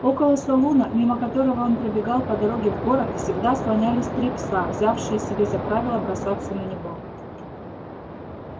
около салуна мимо которого он пробегал по дороге в город всегда слонялись три пса взявшие себе за правило бросаться на него